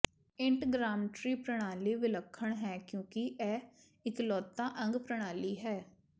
ਇੰਟਗ੍ਰਾਮਟਰੀ ਪ੍ਰਣਾਲੀ ਵਿਲੱਖਣ ਹੈ ਕਿਉਂਕਿ ਇਹ ਇਕਲੌਤਾ ਅੰਗ ਪ੍ਰਣਾਲੀ ਹੈ